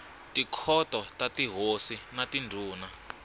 tikhoto ta tihosi na tindhuna